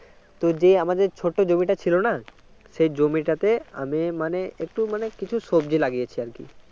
তো যে আমাদের ছোট জমি ছিল না সেই জমিটাতে আমি মানে একটু মানে কিছু সবজি লাগিয়েছি আর কি